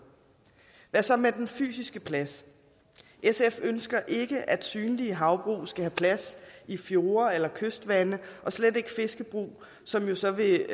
hvad så med den fysiske plads sf ønsker ikke at synlige havbrug skal have plads i fjorde eller kystvande og slet ikke fiskebrug som jo så vil